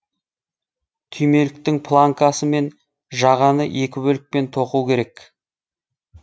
түймеліктің планкасы мен жағаны екі бөлікпен тоқу керек